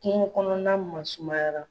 Kungo kɔnɔna masumayara.